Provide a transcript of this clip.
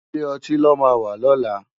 Ilé òtín lò má wà lòlá